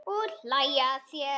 Og hlæja að þér.